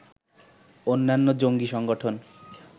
অন্যান্য জঙ্গী সংগঠন